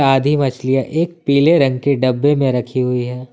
आधी मछलियां एक पीले रंग के डब्बे में रखी हुई है।